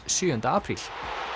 sjöunda apríl